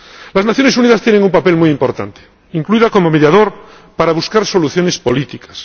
Las Naciones Unidas tienen un papel muy importante, también como mediador para buscar soluciones políticas.